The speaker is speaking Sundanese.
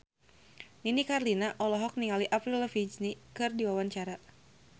Nini Carlina olohok ningali Avril Lavigne keur diwawancara